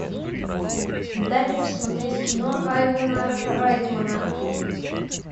дай мне посмотреть кино айвена райтмана